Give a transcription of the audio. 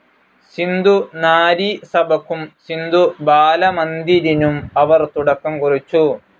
സിന്ധു നാരി സഭയ്ക്കും സിന്ധു ബാല മന്ദിരിനും അവർ തുടക്കം കുറിച്ചു.